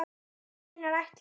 Þú meinar ætlar.